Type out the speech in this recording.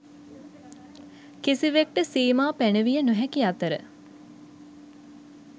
කිසිවෙක්ට සීමා පැනවිය නොහැකි අතර,